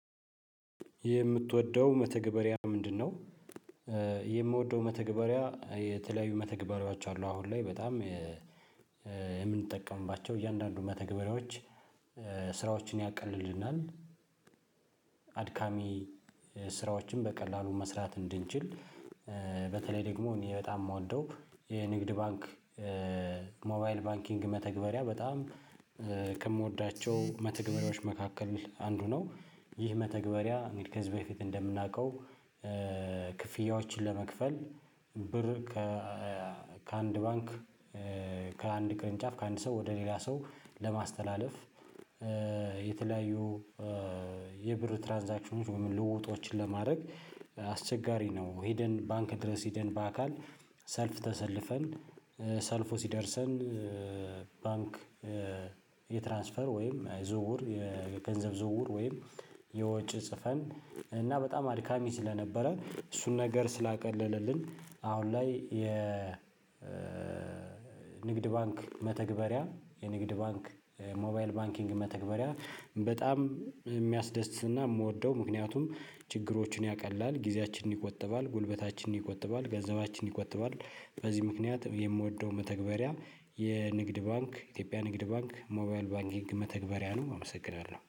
የምትወደው መተግበሪያ ምንድነው? የምወደው መተግበሪያ የተለያዩ መተግበሪያዎች አሉ። አሁን ላይ በጣም የምንጠቀምባቸው እያንዳንዱ መተግበሪያዎች ስራዎችን ያቀልልናል አድካሚ ስራዎችን በቀላሉ መስራት እንድንችል። በተለይ ደግሞ እኔ በጣም የምወደው የንግድ ባንክ ሞባይል ባንኪንግ መተግበሪያ በጣም ከምወዳቸው መተግበሪያዎች መካከል አንዱ ነው። ይህ መተግበሪያ እንግዲህ ከዝ በፊት እንደምናውቀው። ክፍያዎችን ለመክፈል ብር ከ አንድ ባንክ ከአንድ ቅርንጫፍ ከአንድ ሰው ወደ ሌላ ሰው ለማስተላለፍ የተለያዩ የብር ትራንዛክሽኖች ወይም ልውጦችን ለማድረግ አስቸጋሪ ነው። ሄደን ባንክ ድረስ ሄደን በአካል ሰልፍ ተሰልፈን ሰልፉ ሲደርሰን። ባንክ የትራንስፈር ወይም የዝውውር የገንዘብ ዝውውር ወይም የወጭ ጽፈን እና በጣም አድካሚ ስለነበረ እሱን ነገር ስላቀለለልን። አሁን ላይ የ ንግድ ባንክ መተግበሪያ የንግድ ባንክ ሞባይል ባንኪንግ መተግበሪያ በጣም የሚያስደስትና የምወደው ምክንያቱም ችግሮችን ያቀላል ጊዜያችንን ይቆጥባል ጉልበታችንን ይቆጠባል ገንዘባችንን ይቆጠባል። በዚህ ምክንያት የምወደው መተግበሪያ የንግድ ባንክ ኢትዮጵያ ንግድ ባንክ ሞባይል ባንኪንግ መተግበሪያ ነው። አመሰግናለሁ